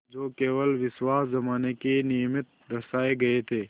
जो केवल विश्वास जमाने के निमित्त दर्शाये गये थे